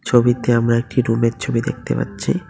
ছবিতে আমরা একটি রুম -এর ছবি দেখতে পাচ্ছি।